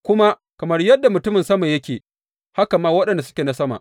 Kuma kamar yadda mutumin sama yake, haka ma waɗanda suke na sama.